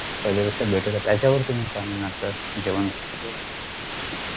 पहिल्यापेक्षा better आहे त्याच्यावर तुम्ही काय म्हणाल sir जेवण वर